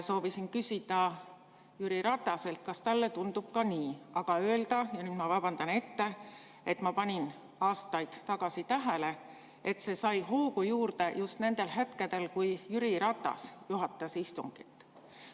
Soovisin küsida Jüri Rataselt, kas talle tundub ka nii, ja öelda – ma vabandan ette –, et ma panin aastaid tagasi tähele, et see sai hoogu juurde just nendel hetkedel, kui Jüri Ratas juhatas istungit.